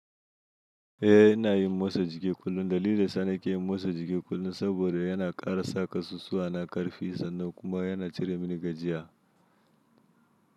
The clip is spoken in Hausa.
Eh ina yin motsa jiki kullum. Dalilin sa ni ke yin motsa jiki kullum saboda yana ƙara sa kasusuwa na ƙarfi sannan kuma yana cire mini gajiya.